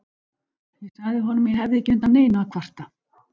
Ég sagði honum að ég hefði ekki undan neinu að kvarta.